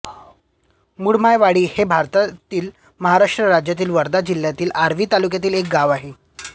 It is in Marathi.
मुंढमायवाडी हे भारतातील महाराष्ट्र राज्यातील वर्धा जिल्ह्यातील आर्वी तालुक्यातील एक गाव आहे